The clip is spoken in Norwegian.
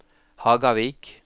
Hagavik